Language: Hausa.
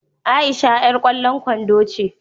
Aisha yar kwallon kwando ce.